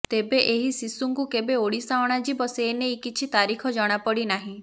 ତେବେ ଏହି ଶିଶୁଙ୍କୁ କେବେ ଓଡିଶା ଅଣାଯିବ ସେନେଇ କିଛି ତାରିଖ ଜଣାପଡି ନାହିଁ